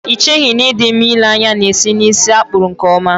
Ị cheghị na ị dị mma ịle anya na-esi n'ísí a kpụrụ nkeọma?